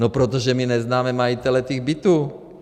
No protože my neznáme majitele těch bytů.